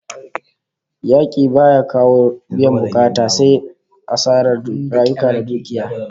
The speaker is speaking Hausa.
Yaki baya kawo biyan bukata sai asarar rayuka da dukiya